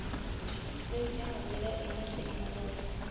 sedzwa nga ndila ine thekhinolodzhi